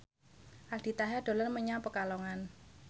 Aldi Taher dolan menyang Pekalongan